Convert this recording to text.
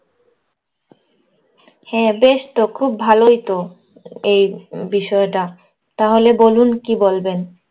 হ্যাঁ, বেশ তো। খুব ভালোই তো এই বিষয়টা। তাহলে বলুন কী বলবেন?